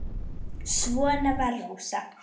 Svona var Rósa.